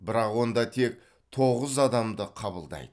бірақ онда тек тоғыз адамды қабылдайды